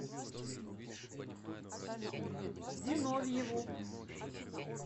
зиновьеву